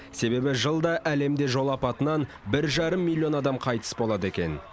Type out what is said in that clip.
себебі жылда әлемде жол апатынан бір жарым миллион адам қайтыс болады екен